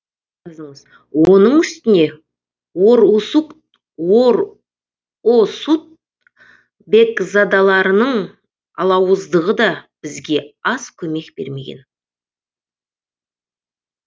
оның үстіне орұсут бекзадаларының алауыздығы да бізге аз көмек бермеген